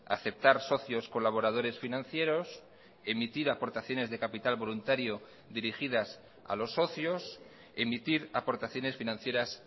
aceptar socios colaboradores financieros emitir aportaciones de capital voluntario dirigidas a los socios emitir aportaciones financieras